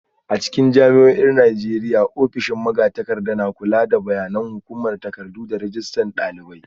A cikin jami'o'in Najeriya, ofishin magatakarda na kula da bayanan hukuma, takardu, da rajistar dalibai.